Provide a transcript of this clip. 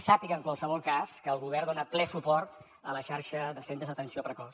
sàpiga en qualsevol cas que el govern dona ple suport a la xarxa de centres d’atenció precoç